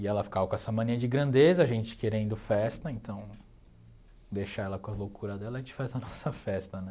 E ela ficava com essa mania de grandeza, a gente querendo festa, então deixar ela com a loucura dela e a gente faz a nossa festa, né?